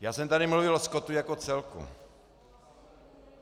Já jsem tady mluvil o skotu jako celku.